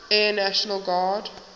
air national guard